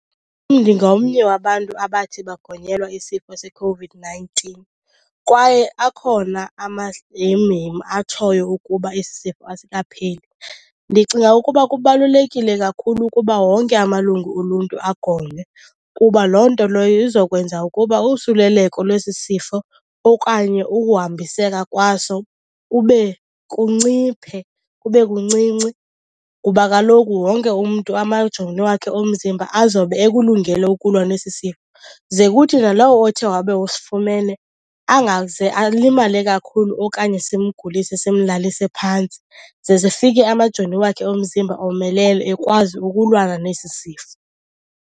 Ndingomnye wabantu abathi bagonyelwa isifo seCOVID-nineteen kwaye akhona amahemhem atshoyo ukuba esi sifo asikapheli. Ndicinga ukuba kubalulekile kakhulu ukuba wonke amalungu oluntu agonywe kuba loo nto leyo izokwenza ukuba usuleleko lwesi sifo okanye ukuhambiseka kwaso kube kunciphe, kube kuncinci, kuba kaloku wonke umntu amajoni wakhe omzimba azobe ekulungele ukulwa nesi sifo. Ze kuthi nalowo othe wabe usifumene angaze alimale kakhulu okanye simgulise simlalise phantsi, ze sifike amajoni wakhe omzimba omelele ekwazi ukulwana nesi sifo.